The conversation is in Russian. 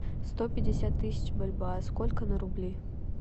сто пятьдесят тысяч бальбоа сколько на рубли